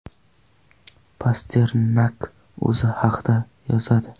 Pasternak o‘zi haqida yozadi.